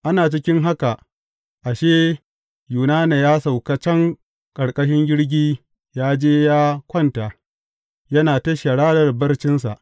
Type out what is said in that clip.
Ana cikin haka, ashe, Yunana ya sauka can ƙarƙashin jirgi ya je ya kwanta, yana ta sharar barcinsa.